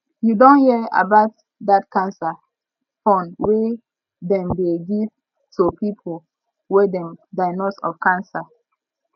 you don hear about dat cancer fund wey dem dey give to people wey dem diagnose of cancer